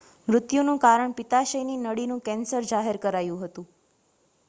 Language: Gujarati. મૃત્યુનું કારણ પિત્તાશયની નળીનું કેન્સર જાહેર કરાયું હતું